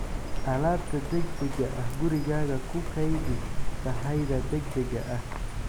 alaabta degdega ah Gurigaaga ku kaydi sahayda degdega ah.